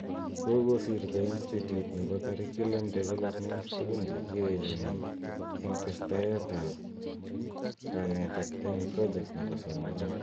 kokosirto Institute nebo curriculum development tugun chekiae chemii eng testaet ab kanetet eng project nebo somanet